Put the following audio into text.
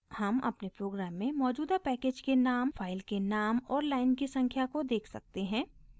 हम अपने प्रोग्राम में मौजूदा पैकेज के नाम फाइल के नाम और लाइन की संख्या को देख सकते हैं